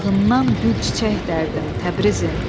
Bağından gül çiçək dərdim, Təbrizim!